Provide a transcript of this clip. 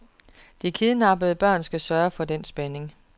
De kidnappede børn skal sørge for den spænding.